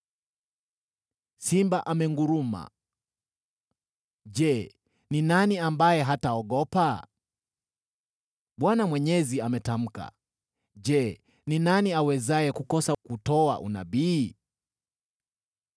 Simba amenguruma: je, ni nani ambaye hataogopa? Bwana Mwenyezi ametamka: je, ni nani awezaye kukosa kutoa unabii?